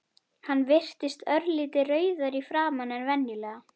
Hann virtist örlítið rauðari í framan en venjulega.